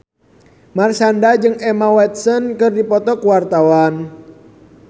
Marshanda jeung Emma Watson keur dipoto ku wartawan